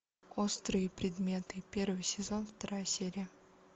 острые предметы первый сезон вторая серия